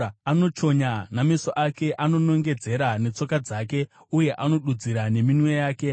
anochonya nameso ake, anonongedzera netsoka dzake, uye anodudzira neminwe yake,